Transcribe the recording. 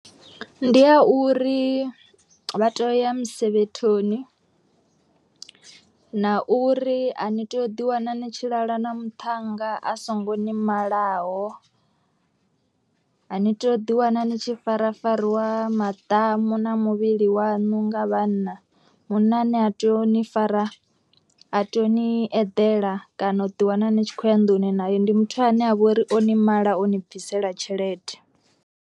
Ndi a uri vha to ya musevhethoni, na uri a ni tea u ḓiwana ni tshi lala na muthannga a so ngo ni malaho, a ni to ḓi wana ni tshi farafarwa maḓamu na muvhili wanu nga vhanna munna ane a tea u ni fara a tea u ni eḓela kana u ḓi wana ni tshi khou ya nḓuni naye ndi muthu ane avha uri o ni mala o ni bvisela tshelede.